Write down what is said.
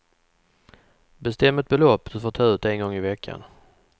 Bestäm ett belopp du får ta ut en gång i veckan.